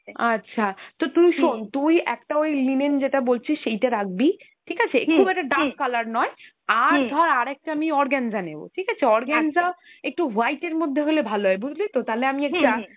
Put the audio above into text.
আচ্ছা, তা তুই শোন, তুই একটা ওই linen যেটা বলছিস সেইটা রাখবি, ঠিক আছে? খুব একটা dark colour নয় আর ধর আর একটা আমি organza নেব, ঠিক আছে? organza একটু white এর মধ্যে হলে ভালো হয়, বুঝলি তো? তাহলে আমি একটা